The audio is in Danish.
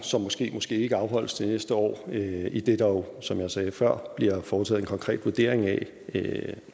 som måske måske ikke afholdes til næste år idet der jo som jeg sagde før bliver foretaget en konkret vurdering af